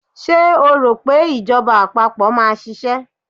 Ṣé o rò pé ìjọba àpapọ̀ máa ṣiṣẹ́?